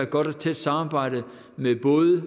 godt og tæt samarbejde med både